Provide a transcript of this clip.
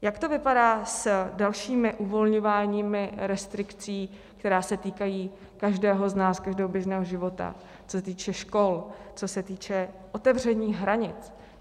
Jak to vypadá s dalším uvolňováním restrikcí, které se týkají každého z nás, každého běžného života, co se týče škol, co se týče otevření hranic?